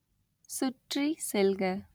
சுற்றி செல்க